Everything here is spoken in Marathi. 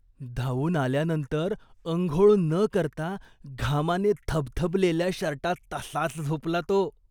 धावून आल्यानंतर अंघोळ न करता घामाने थबथबलेल्या शर्टात तसाच झोपला तो.